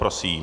Prosím.